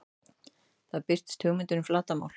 Þar birtist hugmyndin um flatarmál.